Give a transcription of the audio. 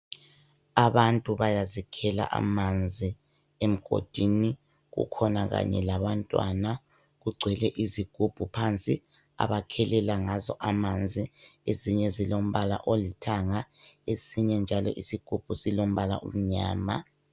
Abantu bayazikhela amanzi emgodini kukhona kanye labantwana. Kugcwele izigubhu phansi abakhelela ngazo amanzi. Ezinye zilombala olithanga esinye njalo isigubhu silombala omnyama.